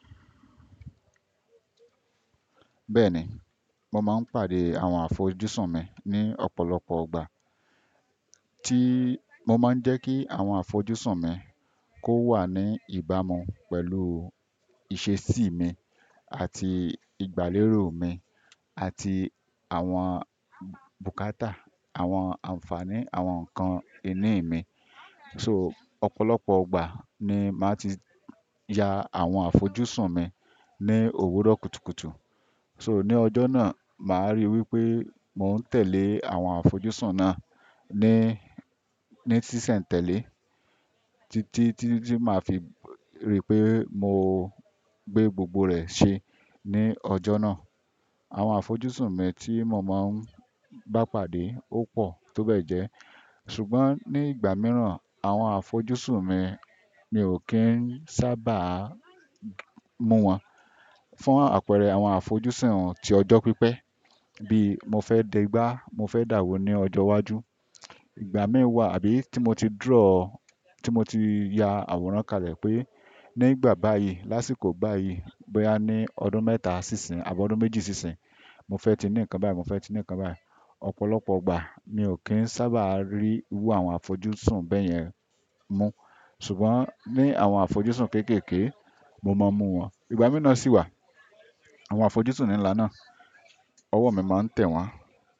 Bẹ́ẹ̀ni, mo máa ń pàdé àwọn àfojúsùn mi ní ọ̀pọ̀lọpọ̀ ọgbà. Tí mo má ń jẹ́ kí àwọn àfojúsùn mi kò wá ní ìbámu pelu ìṣe sì mi, àti ìgbà lérò mi, àti àwọn bukata, àwọn anfaani àwọn ǹkan ìní mi so ọ̀pọ̀lọpọ̀ ọgbà ni màá ti ya àwọn àfojúsùn mi ní òwúrọ̀ kùtùkùtù. So ní ọjọ́ náà, màá ríi wí pé mò ń tẹ̀lé àwọn àfojúsùn náà ní, ní tísẹ̀ńtẹ̀lé tí tí tí máa fi rí pé mo gbé gbogbo rẹ̀ ṣe ní ọjọ́ náà. Àwọn àfojúsùn mi tí mo máa ń bá pàdé ó pọ̀ tó bẹ́ẹ̀ jẹ́. Ṣùgbọ́n ní ìgbà mìíràn, àwọn àfojúsùn mi, mi ò kí ń sábà mú wọn. Fún àpẹẹrẹ àwọn àfojúsùn ti ọjọ́ pípẹ́ bí mo fẹ́ dẹgbà, mo fẹ́ dàwó ní ọjọ́ iwájú. Ìgbà mí wà àbí tí mo ti draw, tí mo ti ya àwòrán kàlẹ̀ pé nígbà báyìí, lásìkò báyìí, bóyá ní ọdún mẹ́ta sí ìsín àbọ́ ọdún méjì sí ìsín, mo fẹ́ ti ní ǹkan báyìí, mo fẹ́ ti ní ǹkan báyìí. Ọ̀pọ̀lọpọ̀ ìgbà mi ò kí ń sábà rí wú àwọn àfojúsùn bẹ́yẹn mú. Ṣùgbọ́n ní àwọn àfojúsùn kéékèèké, mo máa ń mú wọn. Ìgbà mi na si wa, àwọn àfojúsùn ńlá na, ọwọ́ mi má ń tẹ wọn.